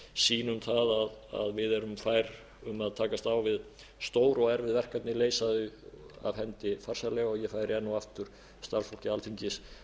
sýnum það að við erum fær um að takast á við stór og erfið verkefni leysa þau af hendi farsællega og ég færi enn og aftur starfsfólki alþingis